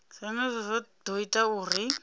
zwenezwo zwo ḓo ita uri